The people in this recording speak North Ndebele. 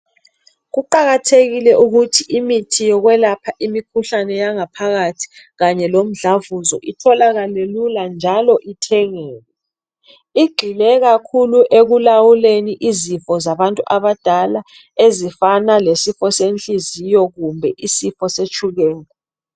Kuqakathekile ukuthi imithi yokwelapha imikhuhlane yangaphakathi kanye lomdlavuzo itholakale lula njalo ithengeke igxile kakhulu ekulawuleni izifo zabantu abadala ezifana lesifo senhliziyo kumbe isifo setshukela.